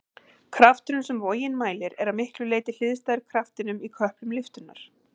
Krafturinn sem vogin mælir er að miklu leyti hliðstæður kraftinum í köplum lyftunnar.